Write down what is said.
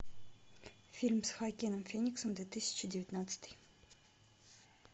фильм с хоакином фениксом две тысячи девятнадцатый